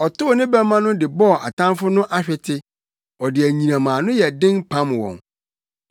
Ɔtow ne bɛmma no de bɔɔ atamfo no ahwete, ɔde anyinam a ano yɛn den pam wɔn.